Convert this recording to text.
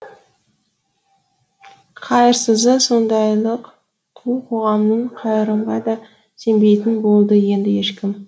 қайырсызы сондайлық қу қоғамның қайырымға да сенбейтін болды енді ешкім